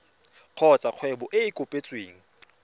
kgotsa kgwebo e e kopetsweng